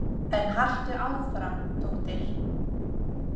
En haltu áfram, dóttir.